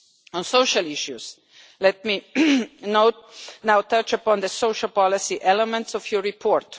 On social issues, let me now touch upon the social policy elements of your report.